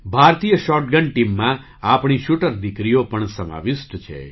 ભારતીય શૉટગન ટીમમાં આપણી શૂટર દીકરીઓ પણ સમાવિષ્ટ છે